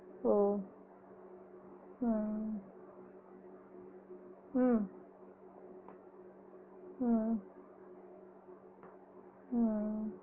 ஓ ஆஹ் உம் ஆஹ் ஆஹ்